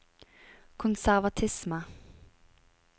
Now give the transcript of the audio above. konservatisme